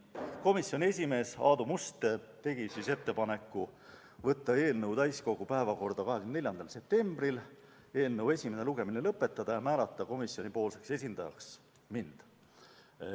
Komisjoni esimees Aadu Must tegi ettepaneku võtta eelnõu täiskogu päevakorda 24. septembriks, eelnõu esimene lugemine lõpetada ja määrata komisjoni esindajaks mind.